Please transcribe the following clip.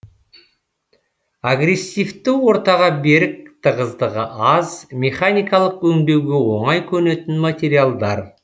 агрессивті ортаға берік тығыздығы аз механикалық өңдеуге оңай көнетін материалдар